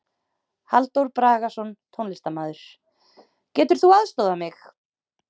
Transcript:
Halldór Bragason, tónlistarmaður: Getur þú aðstoðað mig?